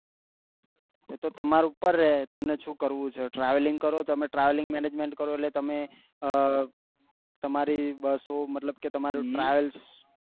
એ તો તમારે ઉપર રે તમને શું કરવું છે travelling કરી તમે travelling management કરો એટલે તમાં તમારી બસો મતલબ કે તમ્રે travels